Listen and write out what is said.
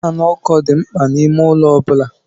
Faanụ ụkọ dị mkpa n'ime ụlọ ọ bụla.